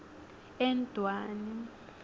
endwani